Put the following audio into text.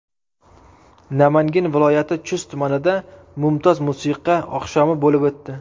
Namangan viloyati Chust tumanida mumtoz musiqa oqshomi bo‘lib o‘tdi.